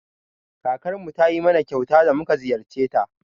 Kakarmu ta yi min kyauta da mu ka ziyarce ta.